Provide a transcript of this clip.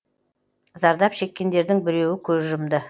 зардап шеккендердің біреуі көз жұмды